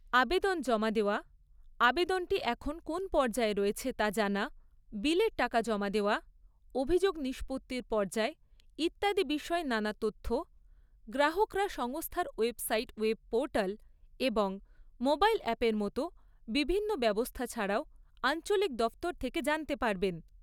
আবেদন জমা দেওয়া, আবেদনটি এখন কোন পর্যায়ে রয়েছে তা জানা, বিলের টাকা জমা দেওয়া, অভিযোগ নিষ্পত্তির পর্যায় ইত্যাদির বিষয়ে নানা তথ্য, গ্রাহকরা সংস্থার ওয়েবসাইট ওয়েব পোর্টাল এবং মোবাইল অ্যাপের মতো বিভিন্ন ব্যবস্থা ছাড়াও আঞ্চলিক দফতর থেকে জানতে পারবেন।